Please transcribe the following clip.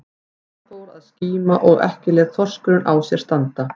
Það fór að skíma og ekki lét þorskurinn á sér standa.